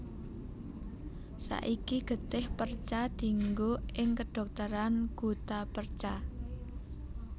Saiki getih perca dienggo ing kedhokteran guttapercha